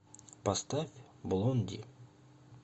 поставь блонди